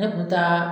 Ne kun taa